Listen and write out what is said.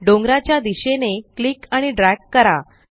डोंगराच्या दिशेने क्लिक आणि ड्रॅग करा